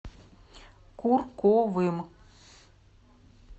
курковым